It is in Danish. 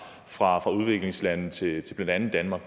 fra udviklingslande til blandt andet danmark